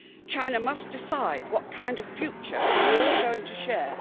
China must decide what kind of future we are all going to share.